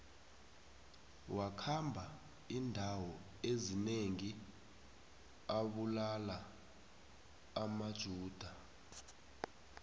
wakhamba indawo ezinengi abulala amajuda